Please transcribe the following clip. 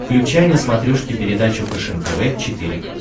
включай на смотрешке передачу фэшен тв четыре к